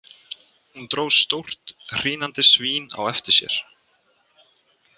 Hún dró stórt hrínandi svín á eftir sér.